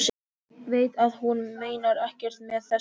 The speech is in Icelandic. Veit að hún meinar ekkert með þessu.